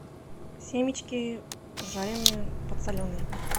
семечки жареные подсоленные